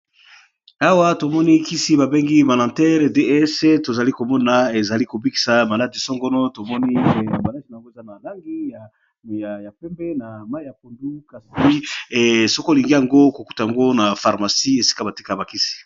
Awa tomoni kisi babengi banater ds tozali komona ezali kobikisa maladi-songono tomoni a malage na yongo eza na langi ya pembe na mai ya pondu kasai soko olingi yango kokuta ango na pharmacie esika batika ya bakisi.